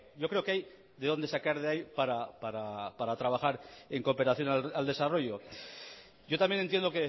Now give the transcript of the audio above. yo creo que hay de dónde sacar de ahí para trabajar en cooperación al desarrollo yo también entiendo